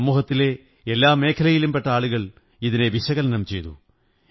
സമൂഹത്തിലെ എല്ലാ മേഖലകളിലും പെട്ട ആളുകൾ ഇതിനെ വിശകലനം ചെയ്തു